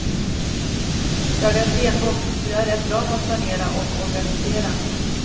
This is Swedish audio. Jag är stenbock, så jag är rätt bra på att planera och organisera.